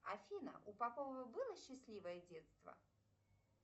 афина у попова было счастливое детство